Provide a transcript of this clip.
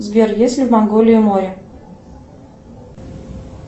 сбер есть ли в монголии море